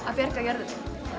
að bjarga jörðinni